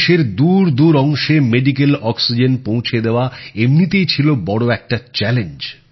দেশের দূর দূর অংশে মেডিকেল অক্সিজেন পৌঁছে দেওয়া এমনিতেই ছিল বড় একটা চ্যালেঞ্জ